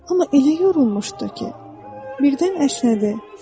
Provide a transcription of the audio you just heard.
Amma elə yorulmuşdu ki, birdən əsnədi.